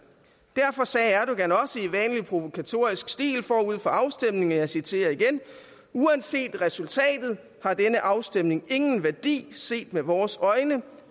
derfor sagde erdogan også i vanlig provokatorisk stil forud for afstemningen og jeg citerer igen uanset resultatet har denne afstemning ingen værdi set med vores øjne